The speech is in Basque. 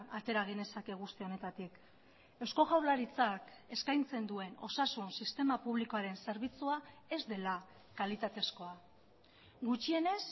atera genezake guzti honetatik eusko jaurlaritzak eskaintzen duen osasun sistema publikoaren zerbitzua ez dela kalitatezkoa gutxienez